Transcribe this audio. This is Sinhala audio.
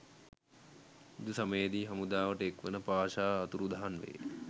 යුද සමයේදී හමුදාවට එක්වන පාෂා අතුරුදහන් වේ.